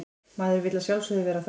Maður vill að sjálfsögðu vera þar